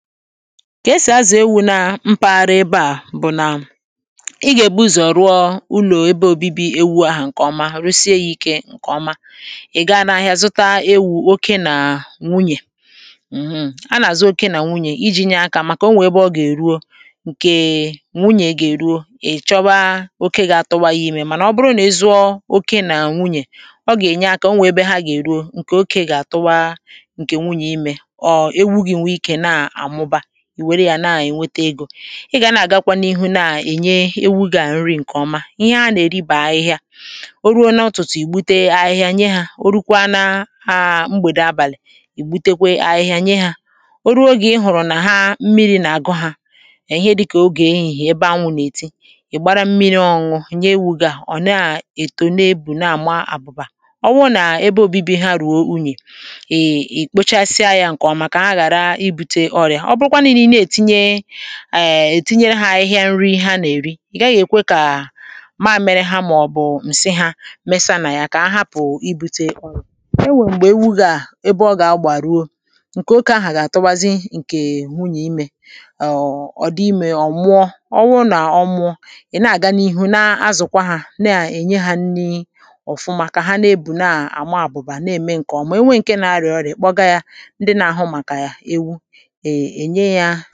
ka esì azà ewu̇ nà mpaghara ebe à bụ̀ nà ị gà-èbu ụzọ̀ ruo ụlọ̀ ebe òbibi ewu̇ ahụ̀ ǹkè ọma rụsịa ya ike ǹkè ọma ị̀ gaghị n’ahịa zụta ewu̇ oke nà nwunyè m̀hụ̀ a nà-àzụ oke nà nwunyè iji̇ nye akȧ màkà o nwè ebe ọ gà-èruo ǹkèè nwunyè gà-èruo ị̀ chọwa oke gà-atụ ya imè mànà ọ bụrụ nà ịzụ̇ oke nà nwunyè ọ gà-ènye akȧ o nwè ebe ha gà-èruo ǹkè oke gà-àtụwa ǹkè nwunyè imè ị gà na-àgakwa n’ihu na-à ènye ewugà nri ǹkè ọma ihe a nà-èribà ahịhịa o ruo n’ọtụ̀tụ̀ ìgbute ahịhịa nye hȧ o rukwaa n’aagbèdò abàlị̀ ìgbutekwe ahịhịa nye hȧ o ruo ogè ị hụ̀rụ̀ nà ha mmịrị̇ nà-àgụ hȧ è ihe dịkà ogè ehìhì ebe anwụ̇ nà-èti ị̀ gbara mmịrị̇ ọọ̇ nye ewugu̇ à ọ̀ na-ètone ebù na-àma àbụbà ọwụ nà ebe obibi ha rùo unyè ètinye ha ȧhịhịa nri ha nà-èri, ị̀ gaghị̇ èkwe kà maȧ mere ha màọ̀bụ̀ ǹsi hȧ mesa nà ya kà ahapụ ibu̇te e nwèrè m̀gbè ewu gà-ebe ọ gà-agbàrụ o ǹkè oke ahà gà-àtụbazi ǹkè wụnyà imė ọ̀ dị imė ọ̀ mụọ ọwụrụ nà ọmụ̇ ị̀ na-àga n’ihu na-azụ̀kwa ha na-à ènye hȧ nri ọ̀fụma kà ha na-ebù na-àma àbụ̀bà na-ème ǹkè ọ̀mụ̀ ewe ǹke na-arịọ̀ọrịọ̀ èkpọga ya ndị nà-àhụ màkà ya ewu m̀gbe ọ̀zọ àkụ̀zịnye gị̇ wèe-enye ahụ̀